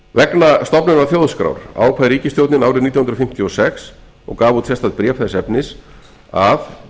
vegna stofnunar þjóðskrár ákvað ríkisstjórnin árið nítján hundruð fimmtíu og sex og gaf út sérstakt bréf þess efnis að